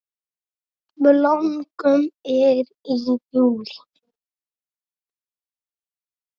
Blómgun er í júlí.